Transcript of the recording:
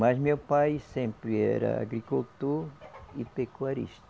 Mas meu pai sempre era agricultor e pecuarista.